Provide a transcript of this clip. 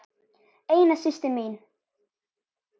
Eina systir mín.